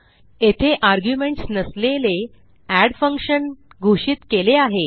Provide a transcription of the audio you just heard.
येथे आर्ग्युमेंट्स नसलेले add function घोषित केले आहे